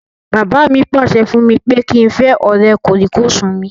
Bàbá mi pàṣẹ fún mi pé kí n fẹ́ ọ̀rẹ́ kòríkòsùn mi